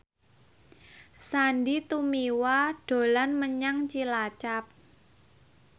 Sandy Tumiwa dolan menyang Cilacap